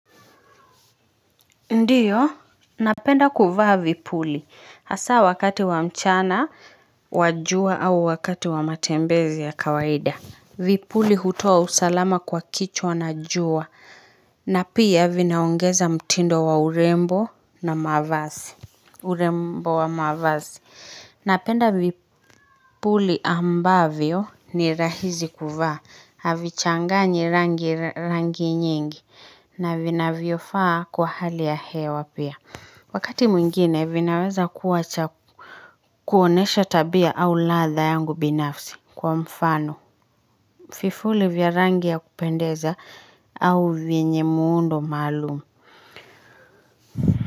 Ndiyo, napenda kuvaa vipuli, hasa wakati wa mchana, wa jua au wakati wa matembezi ya kawaida. Vipuli hutoa usalama kwa kichwa na jua, na pia vinaongeza mtindo wa urembo na mavazi. Urembo wa mavazi Napenda vipuli ambavyo ni rahisi kuvaa Havichanganyi rangi rangi nyingi na vinavyofaa kwa hali ya hewa pia Wakati mwingine vinaweza kuwa cha kuonyesha tabia au ladha yangu binafsi kwa mfano vipuli vya rangi ya kupendeza au vyenye muundo maalumu.